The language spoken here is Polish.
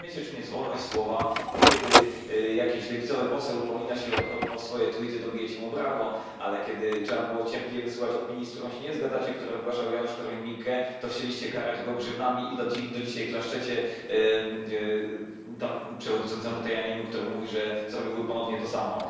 Nie rozumiecie, czym jest wolność słowa, bo kiedy jakiś lewicowy poseł upomina się o swoje tweety, bijecie mu brawo, ale kiedy trzeba było cierpliwie wysłuchać opinii, z którymi się nie zgadzacie, które wygłaszał Janusz Korwin Mikke, chcieliście karać go grzywnami i do dzisiaj klaszczecie przewodniczącemu Tajaniemu, który mówi, że zrobiłby ponownie to samo.